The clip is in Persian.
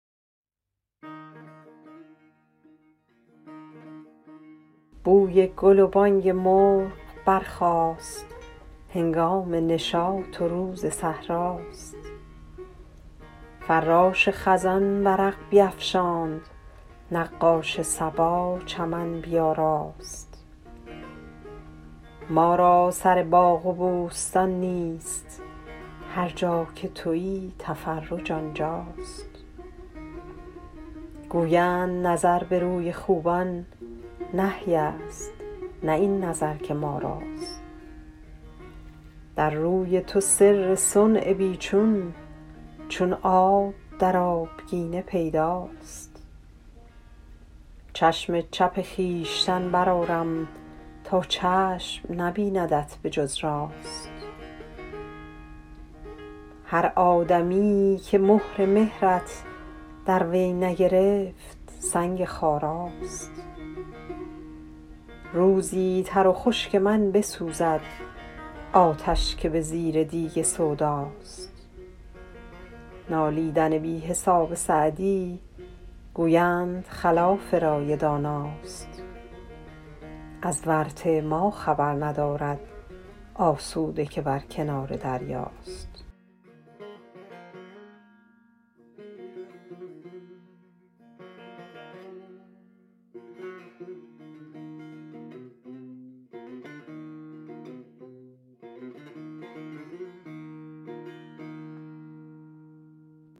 بوی گل و بانگ مرغ برخاست هنگام نشاط و روز صحرا ست فراش خزان ورق بیفشاند نقاش صبا چمن بیاراست ما را سر باغ و بوستان نیست هر جا که تویی تفرج آنجا ست گویند نظر به روی خوبان نهی ست نه این نظر که ما راست در روی تو سر صنع بی چون چون آب در آبگینه پیدا ست چشم چپ خویشتن برآرم تا چشم نبیندت به جز راست هر آدمیی که مهر مهرت در وی نگرفت سنگ خارا ست روزی تر و خشک من بسوزد آتش که به زیر دیگ سودا ست نالیدن بی حساب سعدی گویند خلاف رای دانا ست از ورطه ما خبر ندارد آسوده که بر کنار دریا ست